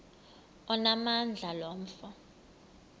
onamandla lo mfo